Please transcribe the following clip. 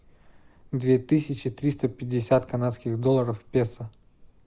две тысячи триста пятьдесят канадских долларов в песо